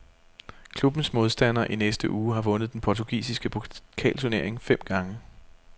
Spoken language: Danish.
Klubbens modstander i næste uge har vundet den portugisiske pokalturnering fem gange.